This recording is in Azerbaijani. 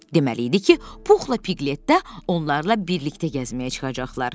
Deməli idi ki, Puhla Piglet də onlarla birlikdə gəzməyə çıxacaqlar.